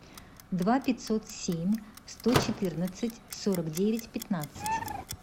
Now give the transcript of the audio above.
два пятьсот семь сто четырнадцать сорок девять пятнадцать